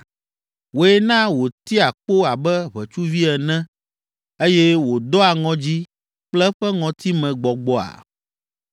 Wòe na wòtia kpo abe ʋetsuvi ene eye wòdoa ŋɔdzi kple eƒe ŋɔtimegbɔgbɔa?